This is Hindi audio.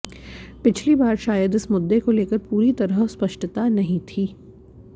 पिछली बार शायद इस मुद्दे को लेकर पूरी तरह स्पष्टता नहीं थी